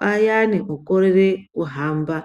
vayani vanokorere kuhamba.